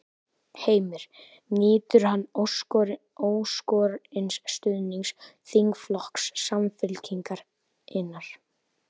Heimir: Nýtur hann óskorins stuðnings þingflokks Samfylkingarinnar?